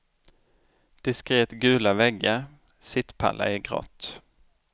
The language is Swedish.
Diskret gula väggar, sittpallar i grått.